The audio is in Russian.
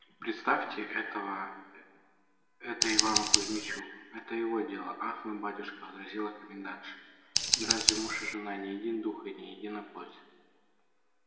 представьте это это это ивану кузьмичу это его дело ах мой батюшка возразила комендантша да разве муж и жена не един дух и не едина плоть